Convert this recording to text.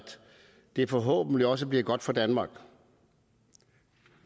det forhåbentlig også bliver godt for danmark